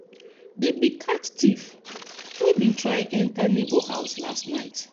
dem bin catch thief wey bin try enter neighbour house last night.